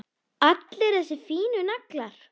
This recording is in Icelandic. Allir þessir fínu naglar!